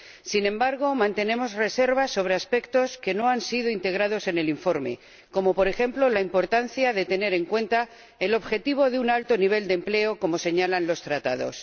Sin embargo, mantenemos reservas sobre aspectos que no han sido integrados en el informe, como, por ejemplo, la importancia de tener en cuenta el objetivo de un alto nivel de empleo, como señalan los Tratados.